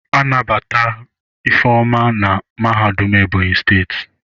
Anabata Ifeoma na mahadum Ebonyi steeti.